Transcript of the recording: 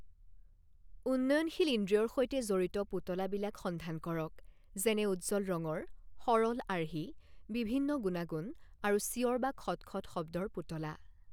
উন্নয়নশীল ইন্দ্ৰিয়ৰ সৈতে জড়িত পুতলা বিলাক সন্ধান কৰক, যেনে উজ্জ্বল ৰঙৰ, সৰল আৰ্হি, বিভিন্ন গুণাগুণ, আৰু চিঞৰ বা খটখট শব্দৰ পুতলা।